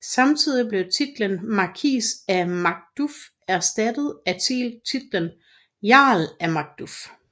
Samtidigt blev titlen Markis af Macduff erstattet af titlen Jarl af Macduff